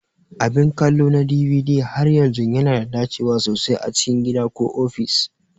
Abin kallo na DVD har yanzu yana da dacewa sosai a cikin gida ko ofis.